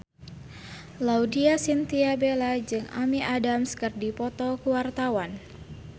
Laudya Chintya Bella jeung Amy Adams keur dipoto ku wartawan